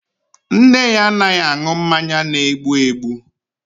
Nne ya anaghị aṅụ mmanya na-egbu egbu